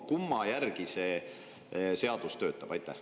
Kumma järgi see seadus töötab?